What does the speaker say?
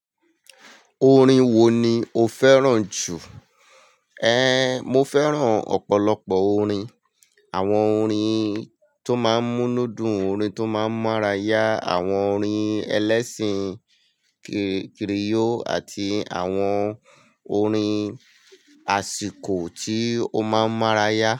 Orin wo ni o fẹ́ràn jù? Ehn, mo fẹ́ràn ọ̀pọ̀lọpọ̀ orin. Àwọn orin tó máa ń mú nú dun, orin tó máa ń mára yá, àwọn orin ẹlẹ́sìn kiriyó àti àwọn orin àsìkò tí ó máa ń mára yá.